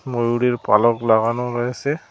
ময়ূরের পালক লাগানো রয়েসে।